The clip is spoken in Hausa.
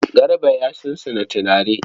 Garba ya sunsuna turare.